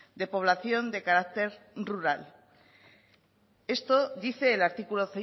de población de carácter rural esto dice el artículo